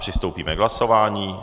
Přistoupíme k hlasování.